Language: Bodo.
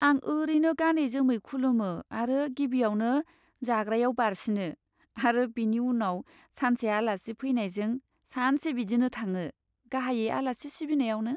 आं ओरैनो गानै जोमै खुलुमो आरो गिबियावनो जाग्रायाव बारसिनो, आरो बेनि उनाव सानसे आलासि फैनायजों, सानसे बिदिनो थाङो, गाहायै आलासि सिबिनायावनो।